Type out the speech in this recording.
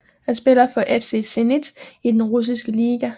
Han spiller for FC Zenit i den russiske liga